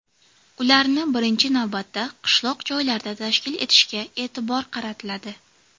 Ularni, birinchi navbatda, qishloq joylarda tashkil etishga e’tibor qaratiladi.